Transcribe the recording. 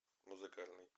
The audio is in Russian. музыкальный